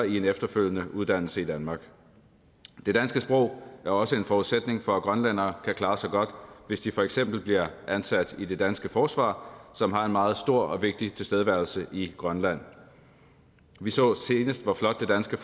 i en efterfølgende uddannelse i danmark det danske sprog er også en forudsætning for at grønlænderne kan klare sig godt hvis de for eksempel bliver ansat i det danske forsvar som har en meget stor og vigtig tilstedeværelse i grønland vi så senest hvor flot det danske